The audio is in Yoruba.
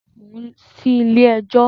Mò ń sí Ilé ẹjọ́.